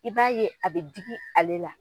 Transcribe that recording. I b'a ye a bɛ digi ale la.